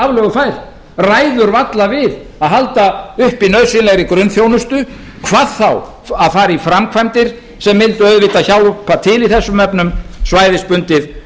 aflögufær ræður varla við að halda uppi nauðsynlegri grunnþjónustu hvað þá að fara í framkvæmdir sem mundu auðvitað hjálpa til í þessum efnum svæðisbundið